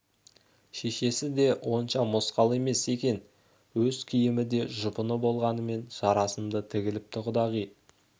шешесі де онша мосқал емес екен өз киімі де жұпыны болғанымен жарасымды тігіліпті құдағи